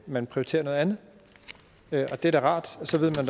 man prioriterer noget andet det er da rart og så ved man